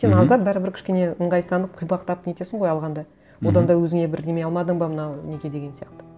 мхм сен аздап бәрібір кішкене ыңғайсызданып қипақтап нетесің ғой алғанда мхм одан да өзіне бірдеңе алмадың ба мына неге деген сияқты